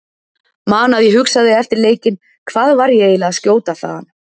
Man að ég hugsaði eftir leikinn Hvað var ég eiginlega að skjóta þaðan?